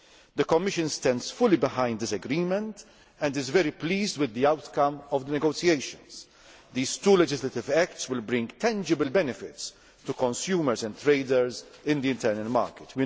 The Commission stands fully behind this agreement and is very pleased with the outcome of the negotiations. These two legislative acts will bring tangible benefits to consumers and traders in the internal market.